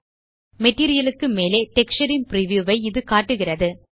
material க்கு மேலே texture ன் பிரிவ்யூ ஐ இது காட்டுகிறது